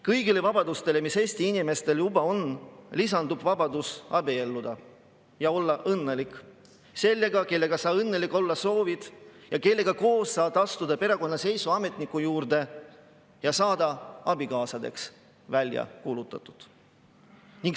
Kõigile vabadustele, mis Eesti inimestel juba on, lisandub vabadus abielluda ja olla õnnelik sellega, kellega sa õnnelik olla soovid, sa saad temaga koos astuda perekonnaseisuametniku juurde ja saada abikaasadena välja kuulutatud.